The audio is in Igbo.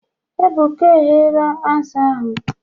Ebuka egheera azụ ahụ